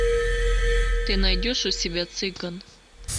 ты найдешь у себя цыган